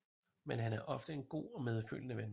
Men han er ofte en god og medfølende ven